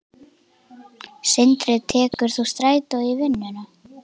Sindri: Tekur þú strætó í vinnuna?